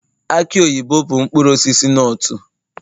aki oyibo bụ mkpụrụ osisi nutu